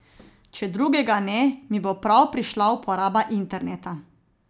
Če drugega ne, mi bo prav prišla uporaba interneta.